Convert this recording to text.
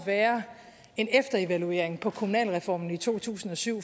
være en efterevaluering på kommunalreformen i to tusind og syv